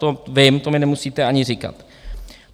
To vím, to mi nemusíte ani říkat.